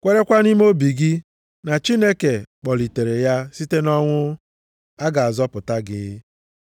kwerekwa nʼime obi gị na Chineke kpọlitere ya site nʼọnwụ, a ga-azọpụta gị.